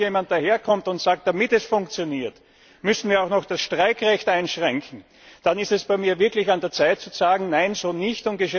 Und wenn dann noch jemand daherkommt und sagt Damit es funktioniert, müssten wir auch noch das Streikrecht einschränken, dann ist es bei mir wirklich an der Zeit zu sagen Nein, so nicht!